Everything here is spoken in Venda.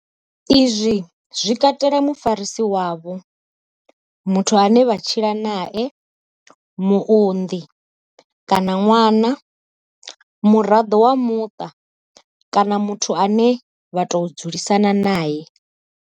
Izwi zwi katela mufarisi wavho, muthu ane vha tshila nae, muunḓi kana ṅwana, muraḓo wa muṱa kana muthu ane vha tou dzulisana nae.